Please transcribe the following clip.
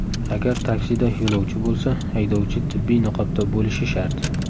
Agar taksida yo‘lovchi bo‘lsa, haydovchi tibbiy niqobda bo‘lishi shart.